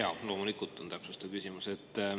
Jaa, loomulikult on mul täpsustav küsimus.